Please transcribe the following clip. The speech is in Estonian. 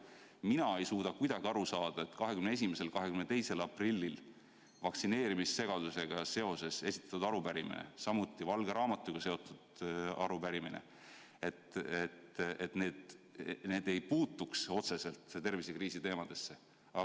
Mina ei suuda kuidagi aru saada, et 21.–22. aprillil vaktsineerimissegadusega seoses esitatud arupärimine, samuti valge raamatuga seotud arupärimine ei puudutaks otseselt tervisekriisi.